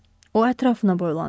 O ətrafına boylandı.